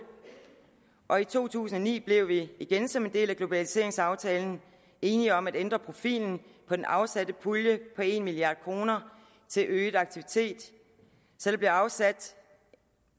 og i to tusind og ni blev vi igen som en del af globaliseringsaftalen enige om at ændre profilen på den afsatte pulje på en milliard kroner til øget aktivitet så der blev afsat